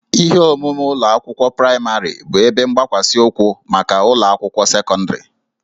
Ihe omume ụlọ akwụkwọ praịmarị bụ ebe mgbakwasị ụkwụ maka ụlọ akwụkwọ sekọndịrị